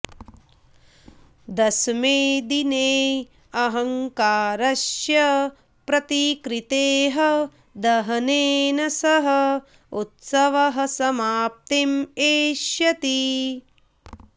दशमे दिने अहङ्कारस्य प्रतिकृतेः दहनेन सह उत्सवः समाप्तिम् एष्यति